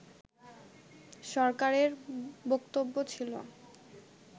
সরকারের বক্তব্য ছিল